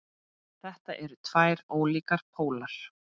Þetta eru tveir ólíkir pólar.